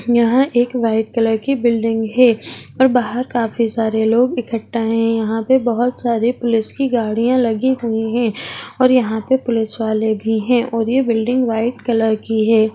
यहाँ एक white colour की बिल्डिंग हैं और बाहर काफी सारे लोग इक्कठा हैं | यहाँ पे बहुत सारे पुलिस की गाड़ियाँ लगी हुई हैं और यहाँ पुलिस वाले भी है और यह बिल्डिंग व्हाइट कलर की है।